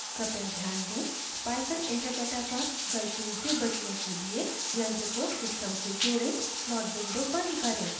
कृपया ध्यान दें python interpreter पर गलतियों से बचने के लिए